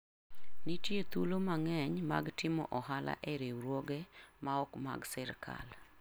Nitie thuolo mang'eny mag timo ohala e riwruoge maok mag sirkal.